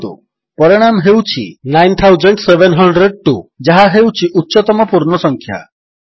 ଦେଖନ୍ତୁ ଏବେ ପରିଣାମ ହେଉଛି 9702 ଯାହା ହେଉଛି ଉଚ୍ଚତମ ପୂର୍ଣ୍ଣ ସଂଖ୍ୟା